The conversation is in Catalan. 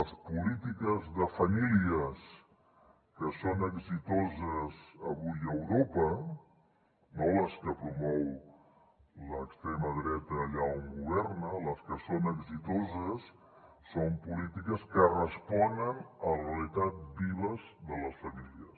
les polítiques de famílies que són exitoses avui a europa no les que promou l’extrema dreta allà on governa les que són exitoses són polítiques que responen a la realitat viva de les famílies